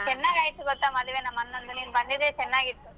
ಚೆನ್ನಾಗಾಯ್ತು ಗೊತ್ತಾ ಮದ್ವೆ ನಮ್ಮಣ್ಣಂದು ನೀನ್ ಬಂದಿದ್ರೆ ಚನ್ನಾಗಿತ್ತು.